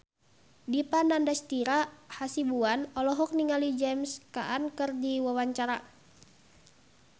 Dipa Nandastyra Hasibuan olohok ningali James Caan keur diwawancara